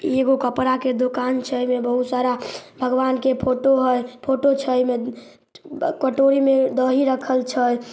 इ एगो कपड़ा के दुकान छै एमें बहुत सारा भगवान के फोटो हेय फोटो छै एमे कटोरी में दही रखल छै।